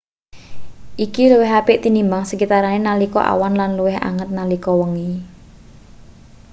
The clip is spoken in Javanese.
iki luwih apik tinimbang sekitarane nalika awan lan luwih anget nalika wengi